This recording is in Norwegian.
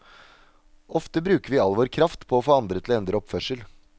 Ofte bruker vi all vår kraft på å få andre til å endre oppførsel.